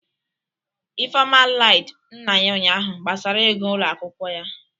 Ifeoma Iied nna ya ụnyahụ gbasara ego ụlọ akwụkwọ ya